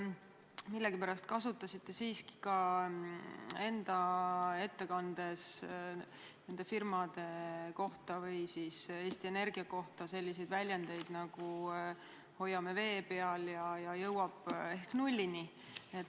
Millegipärast te ütlesite nende firmade kohta või siis Eesti Energia kohta, et me hoiame teda vee peal ja ta jõuab ehk nullini.